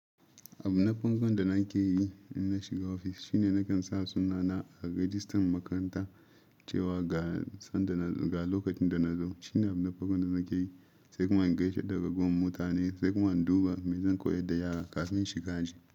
Abun na farkon da nake yi in na shiga ofis shine nakan sa sunana a rajistan makaranta cewa ga san da na ga lokacin da na zo. Shine abun na farkon da nake yi, sai kuma in gaishe daga ragowan mutane, sai kuma in duba mezan koyar da yara kafin shiga aji.